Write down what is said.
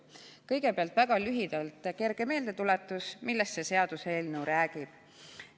Kõigepealt väga lühidalt kerge meeldetuletus, millest see seaduseelnõu räägib.